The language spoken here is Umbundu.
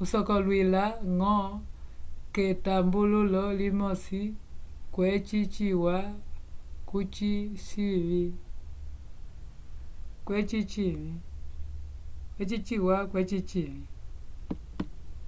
cusocolwila ngo ketabulolo limosi kweci ciwa kuji cinvi